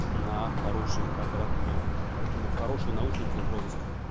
на хорошей аппаратуре поэтому хорошие наушники в розыск